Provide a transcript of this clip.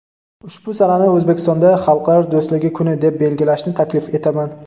ushbu sanani O‘zbekistonda "Xalqlar do‘stligi kuni" deb belgilashni taklif etaman".